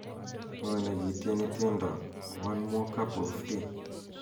ng'o negitieni tiendo one more cup of tea